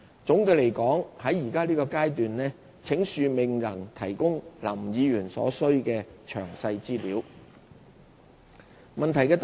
總的來說，請恕我們在現階段未能提供林議員所需的詳細資料。